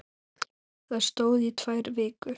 Það stóð í tvær vikur.